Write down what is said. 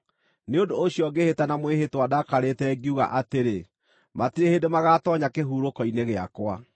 Nĩ ũndũ ũcio ngĩĩhĩta na mwĩhĩtwa ndakarĩte, ngiuga atĩrĩ, ‘Matirĩ hĩndĩ magaatoonya kĩhurũko-inĩ gĩakwa.’ ”